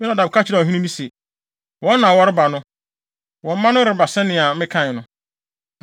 Yonadab ka kyerɛɛ ɔhene no se, “Wɔn na wɔreba no! Wo mma no reba sɛnea mekae no.”